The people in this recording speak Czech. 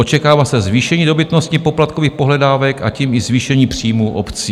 Očekává se zvýšení dobytnosti poplatkových pohledávek a tím i zvýšení příjmů obcí.